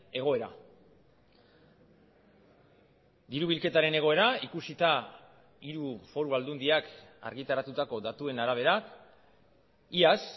egoera diru bilketaren egoera ikusita hiru foru aldundiak argitaratutako datuen arabera iaz